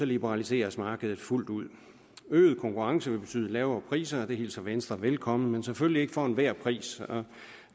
liberaliseres markedet fuldt ud øget konkurrence vil betyde lavere priser og det hilser venstre velkommen men selvfølgelig ikke for enhver pris